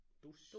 Dosis